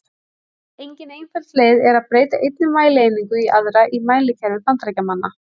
Engin einföld leið er að breyta einni mælieiningu í aðra í mælikerfi Bandaríkjamanna.